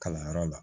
Kalanyɔrɔ la